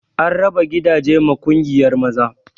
An raba gidaje ma ƙungiyar maza